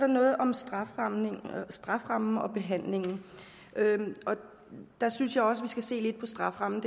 noget om strafferammen strafferammen og behandlingen og der synes jeg også skal se lidt på strafferammen